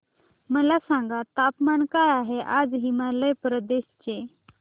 मला सांगा तापमान काय आहे आज हिमाचल प्रदेश चे